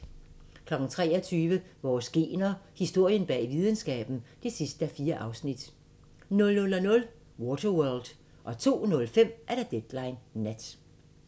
23:00: Vores gener – Historien bag videnskaben (4:4) 00:00: Waterworld 02:05: Deadline Nat